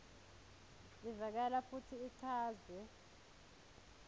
ivakala futsi ichazwe